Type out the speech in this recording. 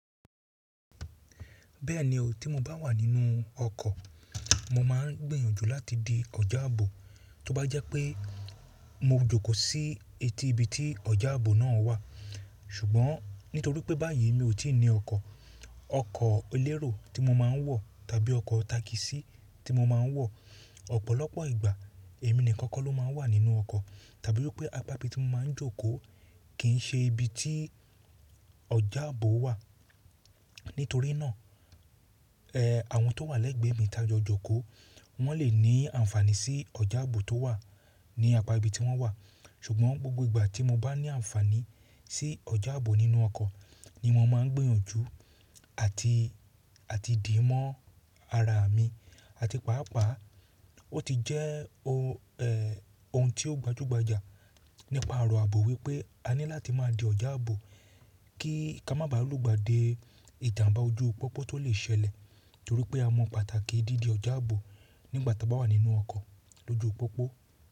Bẹ́ẹ̀ni o, tí mo bá wà nínú ọkọ̀, mo máa ń gbìyànjú láti di ọ̀já ààbò, tó bá jẹ́ pé mo jókòó síi etí ibi tí ọ̀já ààbò náà wà. Ṣùgbọ́n nítorí pé báyìí mi ò tí ì ní ọkọ̀, ọkọ̀ elérò tí mo máa ń wọ̀ tàbí ọkọ̀ takisí tí mo máa ń wọ̀, ọ̀pọ̀lọpọ̀ ìgbà èmi nìkan kọ́ ló máa ń wà nínú ọkọ̀, tàbí wipé apá ibi tí mo máa ń jókòó kì í ṣe ibi tí ọ̀já ààbò wà. Nítorí náà, àwọn tó wà lẹ́gbẹ̀ẹ́ mi tájọ jókòó, wọ́n lè ní àǹfàaní sí ọ̀já ààbò tó wà ní apá ibi tí wọ́n wà. Ṣùgbọ́n gbogbo ìgbà tí mo bá ní àǹfaàní sí ọ̀já ààbò nínú ọkọ̀ ni mo máa ń gbìyànjú àti, àti dì mọ́ ara mi. Àti pàápàá ó ti jẹ́ ohun ohun tí ó gbajúgbajà nípa ọ̀rọ̀ ààbò wípé a ní láti máa di ọ̀já ààbò kí ka má bàá lùgbà de ìjàmbá ojú pópó tó lè ṣẹlẹ̀. Torí pé a mọ pàtàkì dídi ọ̀já ààbò nígbà ta bá wà nínú ọkọ̀ lójú pópó.